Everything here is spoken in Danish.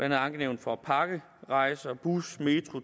et ankenævn for pakkerejser bus metro og